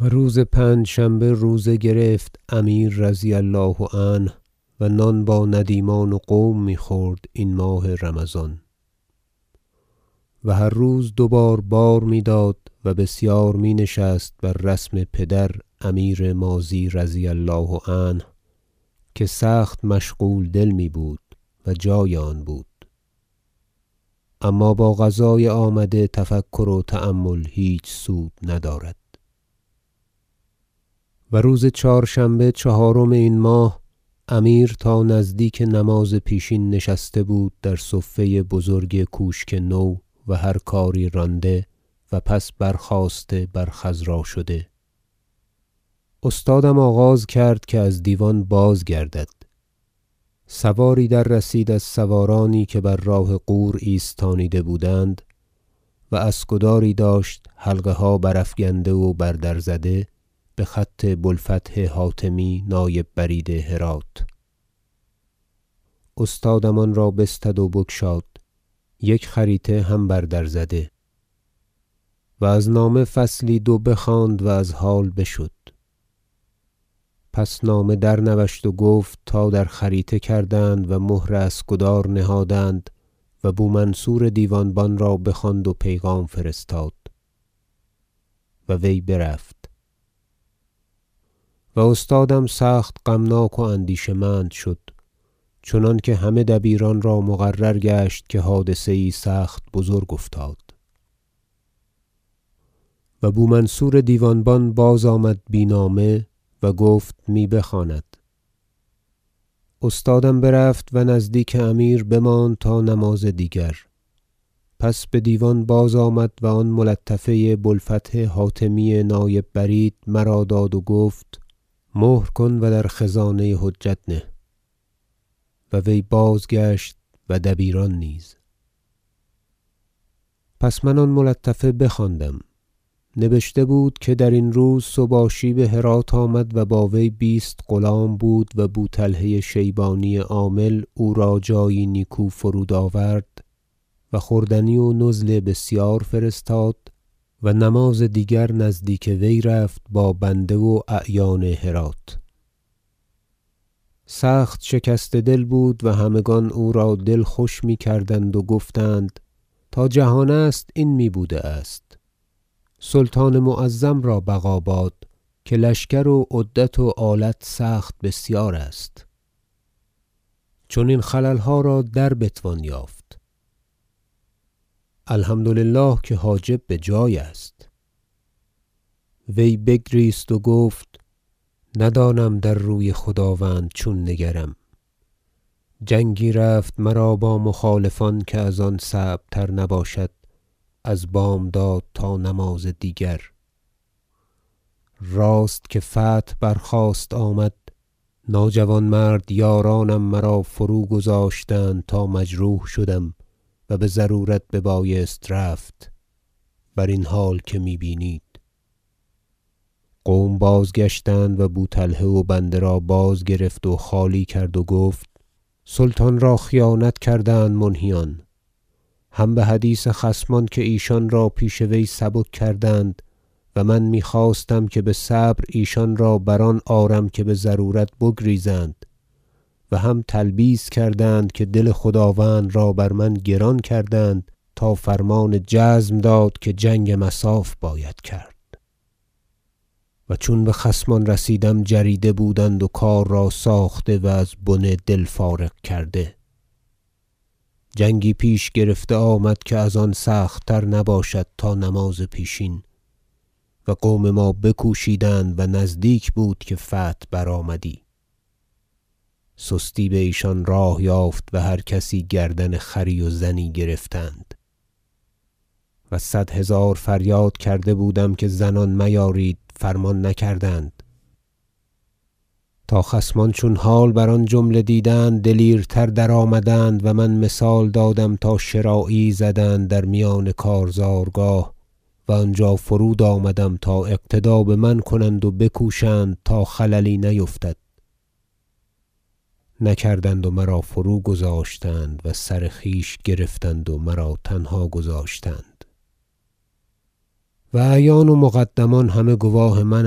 و روز پنجشنبه روزه گرفت امیر رضی الله عنه و نان با ندیمان و قوم میخورد این ماه رمضان و هر روز دوبار بار میداد و بسیار می نشست بر رسم پدر امیر ماضی رضی الله عنه که سخت مشغول دل میبود- و جای آن بود- اما باقضای آمده تفکر و تأمل هیچ سود ندارد و روز چهارشنبه چهارم این ماه امیر تا نزدیک نماز پیشین نشسته بود در صفه بزرگ کوشک نو و هر کاری رانده و پس برخاسته بر خضرا شده استادم آغاز کرد که از دیوان باز گردد سواری در رسید از سوارانی که بر راه غور ایستانیده بودند و اسکداری داشت حلقه ها برافگنده و بر در زده بخط بو الفتح حاتمی نایب برید هرات استادم آن را بستد و بگشاد یک خریطه هم بر در زده و از نامه فصلی دو بخواند و از حال بشد پس نامه در نوشت و گفت تا در خریطه کردند و مهر اسکدار نهادند و بو منصور دیوان بان را بخواند و پیغام فرستاد و وی برفت و استادم سخت غمناک و اندیشه مند شد چنانکه همه دبیران را مقرر گشت که حادثه یی سخت بزرگ افتاد و بومنصور دیوان بان باز آمد بی نامه و گفت می بخواند استادم برفت و نزدیک امیر بماند تا نماز دیگر پس بدیوان باز آمد و آن ملطفه بو الفتح حاتمی نایب برید مرا داد و گفت مهر کن و در خزانه حجت نه و وی بازگشت و دبیران نیز پس من آن ملطفه بخواندم نبشته بود که درین روز سباشی بهرات آمد و با وی بیست غلام بود و بوطلحه شیبانی عامل او را جایی نیکو فرود آورد و خوردنی و نزل بسیار فرستاد و نماز دیگر نزدیک وی رفت با بنده و اعیان هرات سخت شکسته دل بود و همگان او را دل خوش میکردند و گفتند تا جهان است این میبوده است سلطان معظم را بقا باد که لشکر و عدت و آلت سخت بسیار است چنین خللها را در بتوان یافت الحمد لله که حاجب بجای است وی بگریست و گفت ندانم در روی خداوند چون نگرم جنگی رفت مرا با مخالفان که از آن صعب تر نباشد از بامداد تا نماز دیگر راست که فتح برخواست آمد ناجوانمردان یارانم مرا فروگذاشتند تا مجروح شدم و بضرورت ببایست رفت برین حال که می بینید قوم باز گشتند و بوطلحه و بنده را بازگرفت و خالی کرد و گفت سلطان را خیانت کردند منهیان هم بحدیث خصمان که ایشان را پیش وی سبک کردند و من میخواستم که بصبر ایشان را بر آن آرم که بضرورت بگریزند و هم تلبیس کردند که دل خداوند را بر من گران کردند تا فرمان جزم داد که جنگ مصاف باید کرد و چون بخصمان رسیدم جریده بودند و کار را ساخته و از بنه دل فارغ کرده جنگی پیش گرفته آمد که از آن سخت تر نباشد تا نماز پیشین و قوم ما بکوشیدند و نزدیک بود که فتح برآمدی سستی بایشان راه یافت و هر کسی گردن خری و زنی گرفتند و صد هزار فریاد کرده بودم که زنان میارید فرمان نکردند تا خصمان چون حال بر آن جمله دیدند دلیرتر در آمدند و من مثال دادم تا شراعی یی زدند در میان کارزارگاه و آنجا فرود آمدم تا اقتدا بمن کنند و بکوشند تا خللی نیفتد نکردند و مرا فرو گذاشتند و سر خویش گرفتند و مرا تنها گذاشتند و اعیان و مقدمان همه گواه من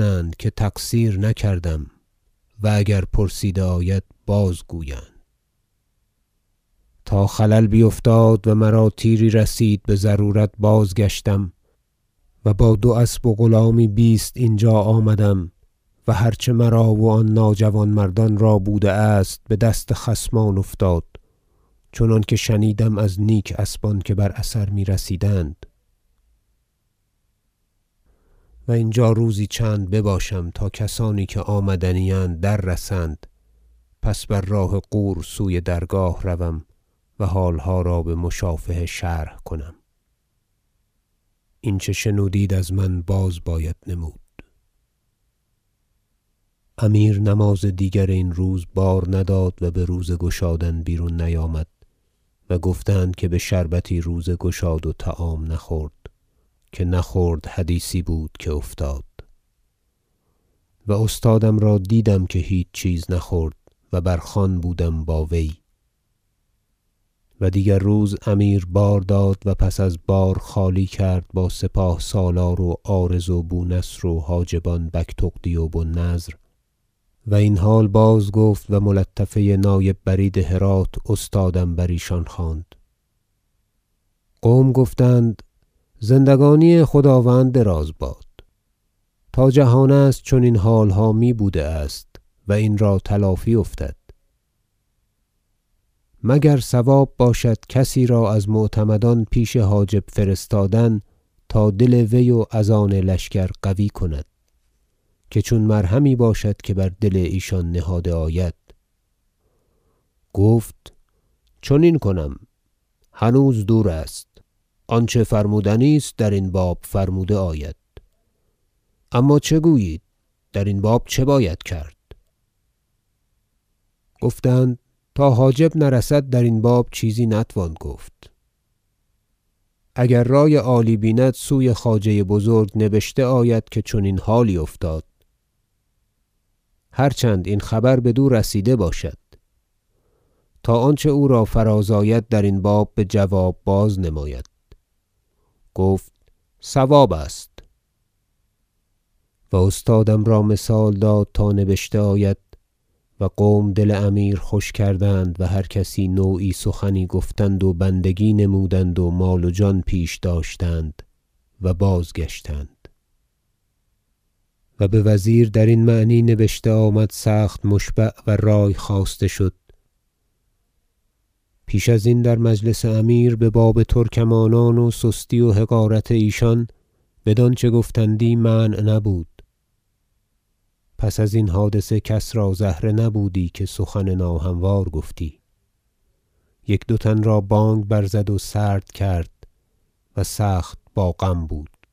اند که تقصیر نکردم و اگر پرسیده آید باز گویند تا خلل بیفتاد و مرا تیری رسید بضرورت بازگشتم و با دو اسب و غلامی بیست اینجا آمدم و هر چه مرا و آن ناجوانمردان را بوده است بدست خصمان افتاد چنانکه شنیدم از نیک اسبان که بر اثر میرسیدند و اینجا روزی چند بباشم تا کسانی که آمدنی اند در رسند پس بر راه غور سوی درگاه روم و حالها را بمشافهه شرح کنم این چه شنودید از من باز باید نمود امیر نماز دیگر این روز بار نداد و بروزه گشادن بیرون نیامد گفتند که بشربتی روزه گشاد و طعام نخورد که نه خرد حدیثی بود که افتاد و استادم را دیدم که هیچ چیز نخورد و بر خوان بودم با وی و دیگر روز امیر بار داد و پس از بار خالی کرد با سپاه سالار و عارض و بونصر و حاجبان بگتغدی و بو النضر و این حال باز گفت و ملطفه نایب برید هرات استادم بریشان خواند قوم گفتند زندگانی خداوند دراز باد تا جهان است چنین حالها می بوده است و این را تلافی افتد مگر صواب باشد کسی را از معتمدان پیش حاجب فرستادن تا دل وی و از آن لشکر قوی کند که چون مرهمی باشد که بر دل ایشان نهاده آید گفت چنین کنم هنوز دور است آنچه فرمودنی است درین باب فرموده آید اما چه گویید درین باب چه باید کرد گفتند تا حاجب نرسد درین باب چیزی نتوان گفت اگر رای عالی بیند سوی خواجه بزرگ نبشته آید که چنین حالی افتاد هر چند این خبر بدو رسیده باشد تا آنچه او را فراز آید درین باب بجواب باز نماید گفت صواب است و استادم را مثال داد تا نبشته آید و قوم دل امیر خوش کردند و هر کسی نوعی سخن گفتند و بندگی نمودند و مال و جان پیش داشتند و بازگشتند و بوزیر درین معنی نبشته آمد سخت مشبع و رای خواسته شد پیش ازین در مجلس امیر بباب ترکمانان و سستی و حقارت ایشان بدانچه گفتندی منع نبود پس از این حادثه کس را زهره نبودی که سخن ناهموار گفتی یک دو تن را بانگ برزد و سرد کرد و سخت با غم بود